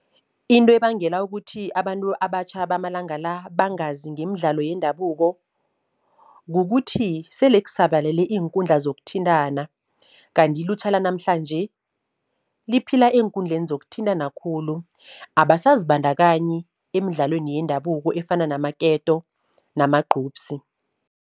Into ebangela ukuthi abantu abatjha bamalanga la bangazi ngemidlalo yendabuko, kukuthi sele kusabalele iinkundla zokuthintana. Kanti ilutjha lanamhlanje liphila eenkundleni zokuthintana khulu, abasazibandakanyi emidlalweni yendabuko efana namaketo namagqubsi.